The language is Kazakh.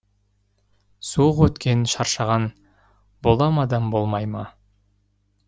суық өткен шаршаған бола ма адам болмай ма